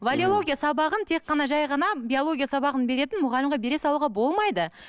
валеология сабағын тек қана жай ғана биология сабағын беретін мұғалімге бере салуға болмайды